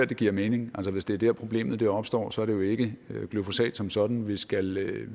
det giver mening altså hvis det er der problemet opstår så er det jo ikke glyfosat som sådan vi skal